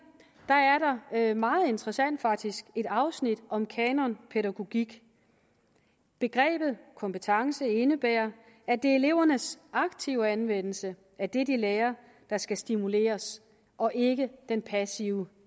er der meget interessant faktisk et afsnit om kanonpædagogik begrebet kompetence indebærer at det er elevernes aktive anvendelse af det de lærer der skal stimuleres og ikke den passive